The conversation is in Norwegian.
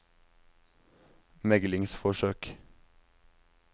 meglingsforsøk